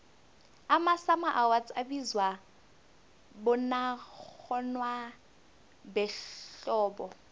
amasummer awards abizwa bonongorwana behlobo